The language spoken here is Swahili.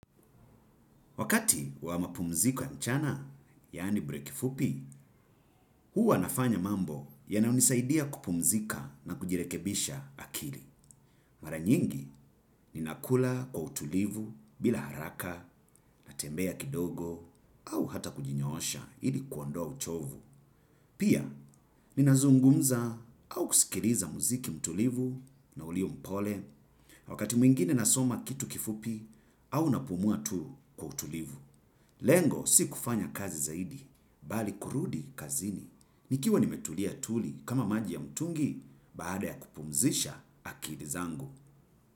Wakati wa mapumziko ya mchana, yani breki fupi, huwa nafanya mambo ya nayonisaidia kupumzika na kujirekebisha akili. Mara nyingi, ninakula kwa utulivu bila haraka natembea kidogo au hata kujinyoosha ili kuondoa uchovu. Pia, ninazungumza au kusikiliza muziki mtulivu na ulio mpole. Wakati mwingine nasoma kitu kifupi, au napumua tu kwa utulivu. Lengo si kufanya kazi zaidi, bali kurudi kazini. Nikiwa nimetulia tuli kama maji ya mtungi, baada ya kupumzisha akili zangu.